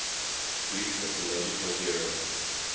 greek mythological hero